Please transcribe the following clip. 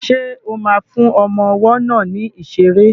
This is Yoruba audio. Ṣo ma fún ọmọ ọwọ́ náà ní ìṣeré?